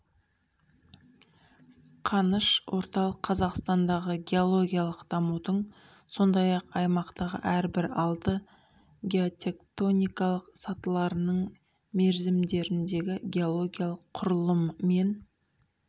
қаныш орталық қазақстандағы геологиялық дамудың сондай-ақ осы аймақтағы әрбір алты геотектоникалық сатыларының мерзімдеріндегі геологиялық құрылым мен